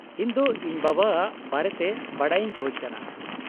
-ᱤᱧ ᱫᱚ ᱤᱧ ᱵᱟᱵᱟ ᱟᱜ ᱵᱟᱨᱮᱛᱮ ᱵᱟᱰᱟᱭ ᱤᱧ ᱠᱷᱚᱡ ᱠᱟᱱᱟ ᱾